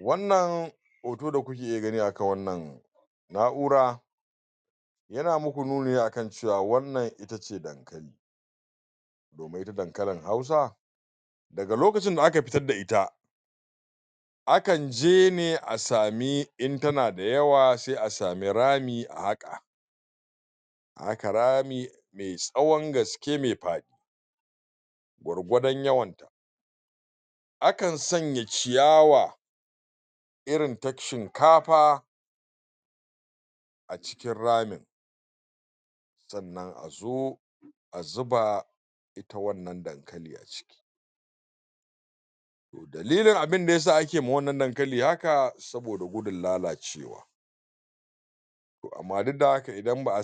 Wannan hoto da kuke gani a kan wannan na'ura yana muku nuni a kan cewa wannan ita ce dankali domin ita dankalin hausa daga lokacin da aka pitad da ita akan je ne a sami in tana da yawa sai a sami rami a haƙa a haka rami me tsawon gaske me um gwargwadon yawan akan sanya ciyawa irin ta shinkafa a cikin ramin sannan a zo a zuba ita wannan dankali a ciki to dalilin abinda yasa ake ma wannan dankali haka saboda gudun lalacewa to amma duk da haka idan um ba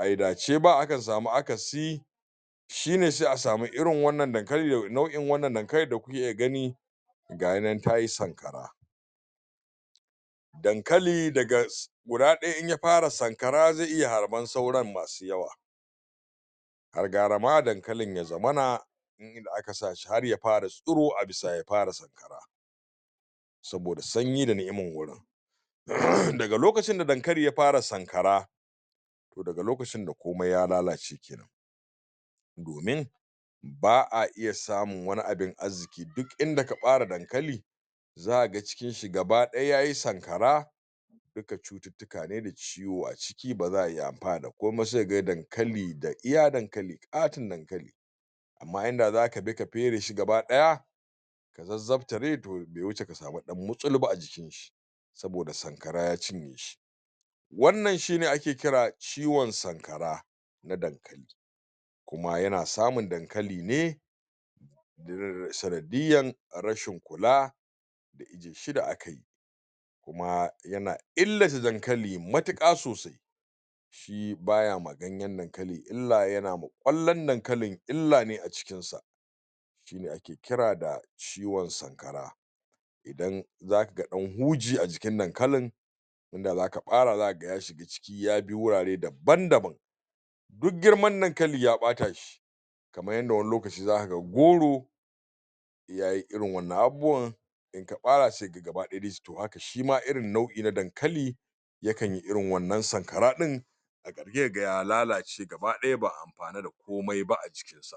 ayi dace ba aka samu akasi shine se a samu irin wannan dankali da wannan nau'in dankali da kuke gani gayinan tayi sanƙara dankali daga guda ɗaya in ya fara sankara zai iya harban sauran masu yawa har gara ma dankalin ya zamana in inda aka sa shi har ya fara tsiro a bisa ya fara sankara saboda sanyi da ni'iman wurin daga lokacin da dankali ya fara sankara to daga lokacin da komai ya lalace kenan domin ba a iya samun wani abin azziki duk inda ka ɓare dankali zaka ga cikin shi gaba ɗaya yayi sankara duka cututtuka ne da ciwo a ciki ba za a iya amfana da komai ba sai ka ga dankali da iya dankali ƙaton dankali amma inda zaka bi ka pere shi gaba ɗaya ka zazzaptare to be wuce ka samu ɗan mutsulu ba a jikin shi saboda sankara ya cinye shi wannan shine ake kira ciwon sankara na dankali kuma yana samun dankali ne sanadiyan rashin kula da ije shi da aka yi kuma yana illata dankali matuƙa sosai shi ba ya ganƴen dankali illa yana ma ƙwallan dankalin illa ne a cikinsa shine ake kira da ciwon sankara idan zaka ga ɗan huji a jikin dankalin inda zaka ɓara zaka ga ya shiga ciki ya bi wurare daban daban duk girman dankali ya ɓata shi kaman yanda wani lokaci zaka ga goro yayi irin wannan abubuwan in ka ɓara sai ka ga gaba ɗaya to haka shima irin nau'i na dankali yakan yi irin wannan sankara ɗin a ƙarhe sai ka ga ya lalace gaba ɗaya ba'a ampana da komai ba a cikin sa